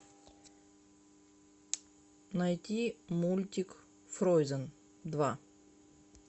найти мультик фрозен два